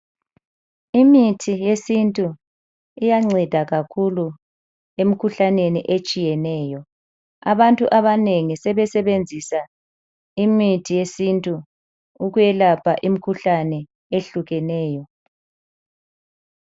Imithi yesintu iyanceda kakhulu emkhuhlaneni etshiyeneyo. Abantu abanengi sebesebenzisa imithi yesintu ukwelapha imikhuhlane ehlukeneyo.